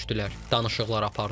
Danışıqlar apardılar.